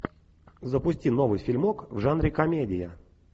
запусти новый фильмок в жанре комедия